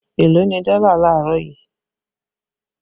Eló ni dọ́là laarọ yìí?